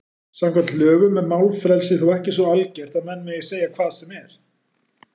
Samkvæmt lögum er málfrelsi þó ekki svo algert að menn megi segja hvað sem er.